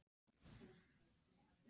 þú veist. þetta sem þú lést mig fá.